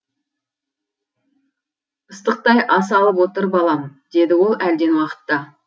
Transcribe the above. ыстықтай ас алып отыр балам деді ол әлден уақытта